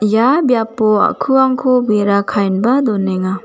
ia biapo a·kuangko bera ka·enba donenga.